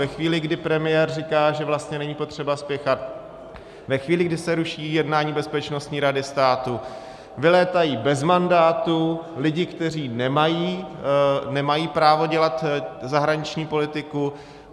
Ve chvíli, kdy premiér říká, že vlastně není potřeba spěchat, ve chvíli, kdy se ruší jednání Bezpečnostní rady státu, vylétají bez mandátu lidi, kteří nemají právo dělat zahraniční politiku.